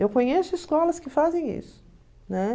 Eu conheço escolas que fazem isso, né?